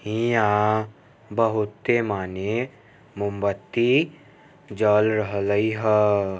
हीया बहुते माने मोमबत्ती जल रहले हअ ।